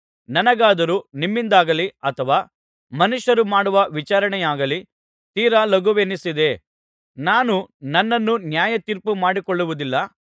ನನಗಾದರೂ ನಿಮ್ಮಿಂದಾಗಲಿ ಅಥವಾ ಮನುಷ್ಯರು ಮಾಡುವ ವಿಚಾರಣೆಯಾಗಲಿ ತೀರಾ ಲಘುವೆನಿಸಿದೆ ನಾನೂ ನನ್ನನ್ನು ನ್ಯಾಯತೀರ್ಪು ಮಾಡಿಕೊಳ್ಳುವುದಿಲ್ಲ